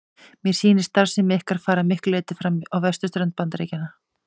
Mér sýnist starfsemi ykkar fara að miklu leyti fram á vesturströnd Bandaríkjanna.